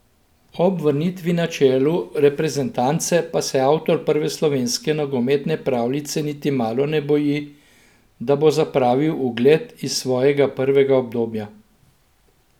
Ob vrnitvi na čelu reprezentance pa se avtor prve slovenske nogometne pravljice niti malo ne boji, da bo zapravil ugled iz svojega prvega obdobja.